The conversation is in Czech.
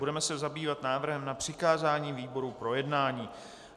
Budeme se zabývat návrhem na přikázání výboru k projednání.